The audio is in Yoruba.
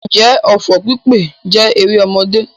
Ǹjẹ́ ọfọ̀ pípè jẹ́ erémọdé?